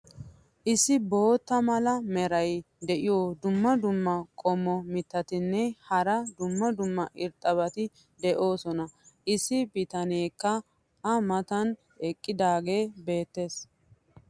issi bootta mala meray diyo dumma dumma qommo mitattinne hara dumma dumma irxxabati de'oosona. issi bitaneekka a matan eqqidaagee beetees.